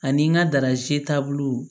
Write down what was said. Ani n ka daraze taabolo